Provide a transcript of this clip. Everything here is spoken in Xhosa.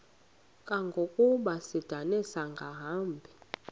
kangangokuba isindane ingasahambi